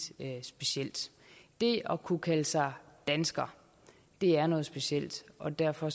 specielt det at kunne kalde sig dansker er noget specielt og derfor